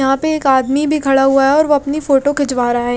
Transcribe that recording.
यहाँ पे एक आदमी भी खड़ा हुआ है और वो अपनी फोटो खिचवा रहा है।